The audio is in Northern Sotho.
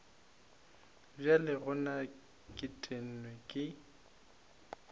bjale gona ke tennwe ke